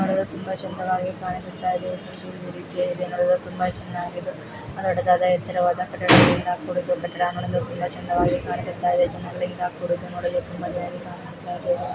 ನೋಡಲು ತುಂಬಾ ಚೆನ್ನಾಗಿ ಕಾಣಿಸುತ್ತಿದೆ. ತುಂಬಾ ದೊಡ್ಡದಾದ ಎತ್ತರವಾದ ಕಟ್ಟಡಗಳಿಂದ ಕೂಡಿದ್ದು ನೋಡಲು ತುಂಬಾ ಸುಂದರವಾಗಿ ಕಾಣಿಸುತ್ತಾ ಇದೆ.